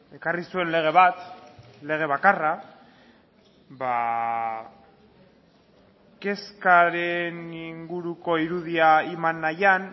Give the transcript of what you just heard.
ekarri zuen lege bat lege bakarra kezkaren inguruko irudia eman nahian